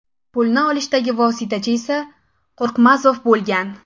Pulni olishdagi vositachi esa Qo‘rqmazov bo‘lgan.